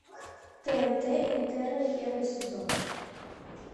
тнт интерны первый сезон